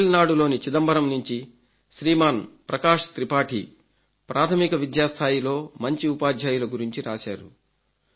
తమిళనాడులోని చిదంబరం నుంచి శ్రీమాన్ ప్రకాశ్ త్రిపాఠి ప్రాథమిక విద్యాస్థాయిలో మంచి ఉపాధ్యాయుల గురించి రాశారు